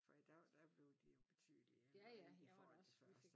For i dag der bliver de jo betydeligt ældre i i forhold til før